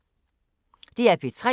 DR P3